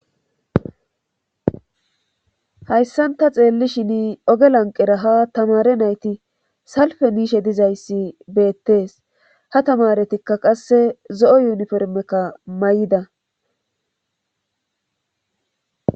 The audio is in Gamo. Hayssanta xeelli shin oge lanqeraha tamare nayti salfe niishe dizayssi beettees ha tamaretikka qasse zo7o yuniformekka may7ida.